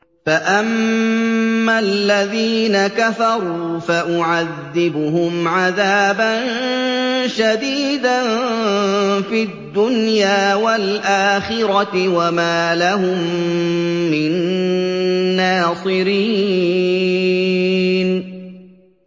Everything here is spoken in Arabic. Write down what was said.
فَأَمَّا الَّذِينَ كَفَرُوا فَأُعَذِّبُهُمْ عَذَابًا شَدِيدًا فِي الدُّنْيَا وَالْآخِرَةِ وَمَا لَهُم مِّن نَّاصِرِينَ